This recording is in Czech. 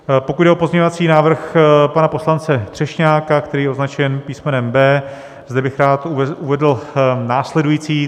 Pokud jde o pozměňovací návrh pana poslance Třešňáka, který je označen písmenem B, zde bych rád uvedl následující.